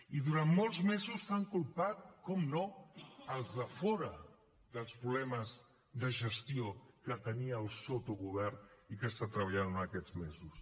i durant molts mesos s’han culpat per descomptat als de fora dels problemes de gestió que tenia el sotogovern i que ha estat treballant durant aquests mesos